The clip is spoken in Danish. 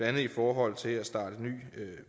andet i forhold til at starte ny